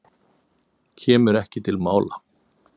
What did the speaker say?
Kemur ekki til mála.